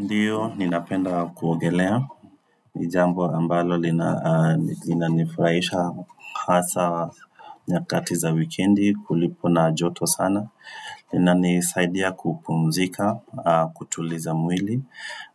Ndio, ninapenda kuogelea. Ni jambo ambalo linanifurahisha hasa nyakati za wikendi kulipo na joto sana. Inanisaidia kupumzika, kutuliza mwili.